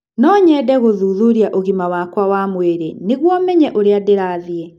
No nyende gũthuthuria ũgima wakwa wa mwĩrĩ nĩguo menye ũrĩa ndĩrathiĩ